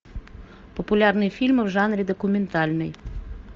популярные фильмы в жанре документальный